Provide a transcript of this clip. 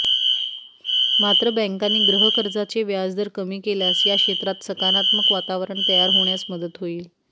मात्र बॅंकांनी गृहकर्जाचे व्याजदर कमी केल्यास या क्षेत्रात सकारात्मक वातावरण तयार होण्यास मदत होईल